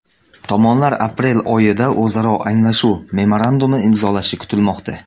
Tomonlar aprel oyida o‘zaro anglashuv memorandumi imzolashi kutilmoqda.